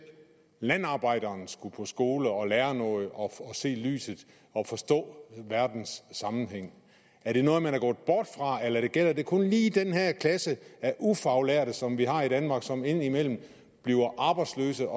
landarbejderen skulle i skole og lære noget og se lyset og forstå verdens sammenhæng er det noget man er gået bort fra eller er det kun lige den her klasse af ufaglærte som vi har i danmark og som indimellem bliver arbejdsløse